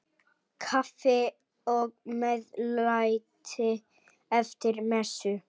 Kaffi og meðlæti eftir messu.